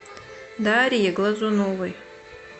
дарье глазуновой